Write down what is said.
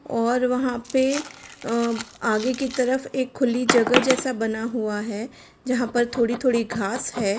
और वहां पे अ-आगे की तरफ एक खुली जगह जैसा बना हुआ है यहां पर थोड़ी-थोड़ी घास है।